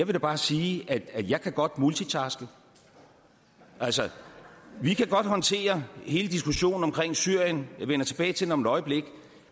da bare sige at jeg godt kan multitaske altså vi kan godt håndtere hele diskussionen om syrien jeg vender tilbage til den om et øjeblik